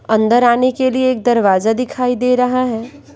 अंदर आने के लिए एक दरवाजा दिखाई दे रहा है।